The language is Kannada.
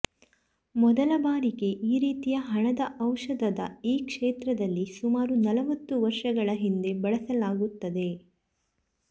ಮೊದಲ ಬಾರಿಗೆ ಈ ರೀತಿಯ ಹಣದ ಔಷಧದ ಈ ಕ್ಷೇತ್ರದಲ್ಲಿ ಸುಮಾರು ನಲವತ್ತು ವರ್ಷಗಳ ಹಿಂದೆ ಬಳಸಲಾಗುತ್ತದೆ